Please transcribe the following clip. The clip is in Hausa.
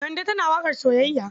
Kande tana waƙar soyayya.